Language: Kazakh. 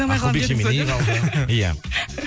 ақылбек жеменей қалды иә